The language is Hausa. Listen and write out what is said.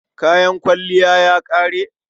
Kayan kwalliyarki ya ƙare?